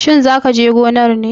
Shin za ka je gonar ne?